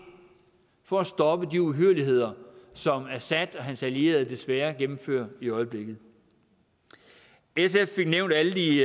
for at stoppe de uhyrligheder som assad og hans allierede desværre gennemfører i øjeblikket sf fik nævnt alle de